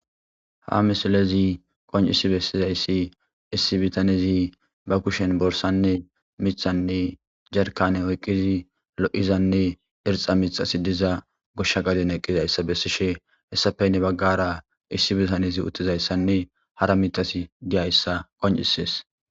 Ha missilezi qoncissi bessizayssi issi bitanezzi bakushen borssanne mithanne jarkkanne oyqqizi lo'zanneirxxa mithazi dizza goshsha gadden eqizzayssa hessappe hini bagarra issi bittanezi uttidayssanne harra mithati de'ssa qonccissees.